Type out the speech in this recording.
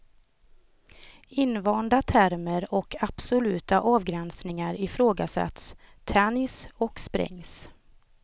Invanda termer och absoluta avgränsningar ifrågasätts, tänjs och sprängs.